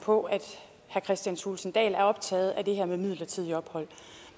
på at herre kristian thulesen dahl er optaget af det her med midlertidigt ophold